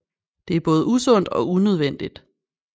Det er både usundt og unødvendigt